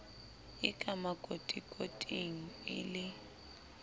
e ka makotikoting le e